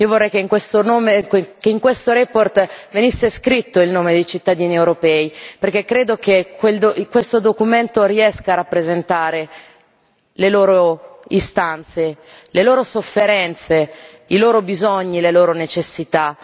Io vorrei che in questa relazione venisse scritto il nome dei cittadini europei, perché credo che questo documento riesca a rappresentare le loro istanze, le loro sofferenze, i loro bisogni, le loro necessità.